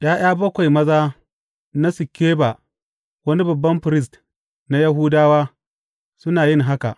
’Ya’ya bakwai maza na Sikeba, wani babban firist na Yahudawa, suna yin haka.